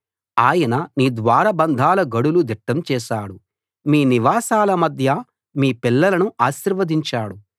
ఆయన నీ ద్వారబంధాల గడులు దిట్టం చేశాడు మీ నివాసాల మధ్య మీ పిల్లలను ఆశీర్వదించాడు